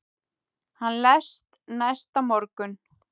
Hann lést næsta morgun.